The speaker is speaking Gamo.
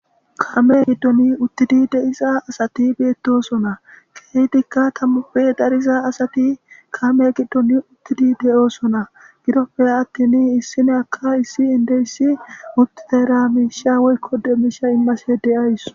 Kame giddoni uttidi de7iza asati beettosona keeydikka tammuppe dariza asati kame giddon uttidi deyoosona gidoppe attini issine aka issi indeyssi mutteramisha woykko demiisha immase de7ays.